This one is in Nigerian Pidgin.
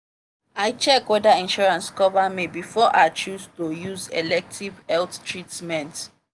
i check whether insurance cover me before i chose to use elective health treatment.